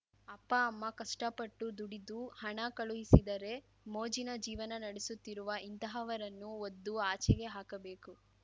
ಅಪ್ಪ ಅಮ್ಮ ಕಷ್ಟಪಟ್ಟು ದುಡಿದು ಹಣ ಕಳುಹಿಸಿದರೆ ಮೋಜಿನ ಜೀವನ ನಡೆಸುತ್ತಿರುವ ಇಂತಹವರನ್ನು ಒದ್ದು ಆಚೆಗೆ ಹಾಕಬೇಕು